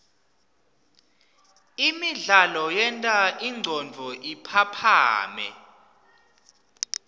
imidlalo yenta ingcondvo iphaphame